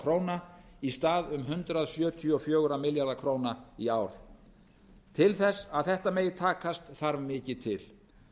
króna í stað um hundrað sjötíu og fjóra milljarða króna í ár til þess að þetta megi takast þarf mikið til